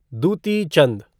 Dutee Chand